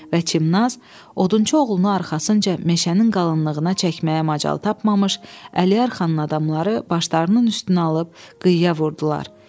Və Çimnaz odunçu oğlunu arxasınca meşənin qalınlığına çəkməyə macal tapmamış, Əliyar xanın adamları başlarının üstünə alıb qıyığa vurdular.